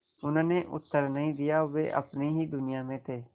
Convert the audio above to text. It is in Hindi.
उन्होंने उत्तर नहीं दिया वे अपनी ही दुनिया में थे